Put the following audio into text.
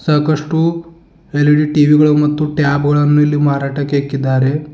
ಸಾಕಷ್ಟು L E D T V ಗಳು ಮತ್ತು ಟ್ಯಾಬ್ ಗಳನ್ನು ಇಲ್ಲಿ ಮಾರಾಟಕ್ಕೆ ಇಕ್ಕಿದ್ದಾರೆ.